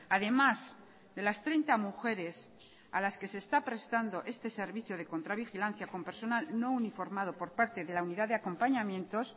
a demás de las treinta mujeres a las que se está prestando este servicio de contra vigilancia con personal no uniformado por parte de la unidad de acompañamientos